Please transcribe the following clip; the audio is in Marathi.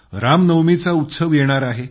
रामनवमीचा उत्सव येणार आहे